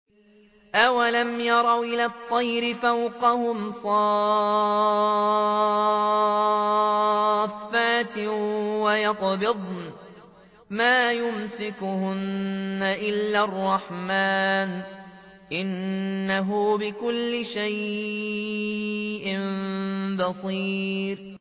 أَوَلَمْ يَرَوْا إِلَى الطَّيْرِ فَوْقَهُمْ صَافَّاتٍ وَيَقْبِضْنَ ۚ مَا يُمْسِكُهُنَّ إِلَّا الرَّحْمَٰنُ ۚ إِنَّهُ بِكُلِّ شَيْءٍ بَصِيرٌ